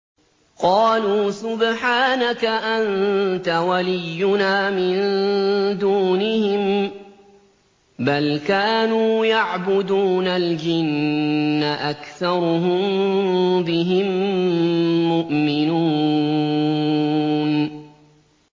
قَالُوا سُبْحَانَكَ أَنتَ وَلِيُّنَا مِن دُونِهِم ۖ بَلْ كَانُوا يَعْبُدُونَ الْجِنَّ ۖ أَكْثَرُهُم بِهِم مُّؤْمِنُونَ